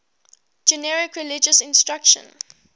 generic religious instruction